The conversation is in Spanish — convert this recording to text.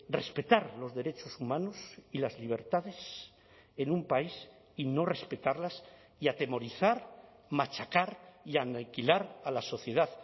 respetar los derechos humanos y las libertades en un país y no respetarlas y atemorizar machacar y aniquilar a la sociedad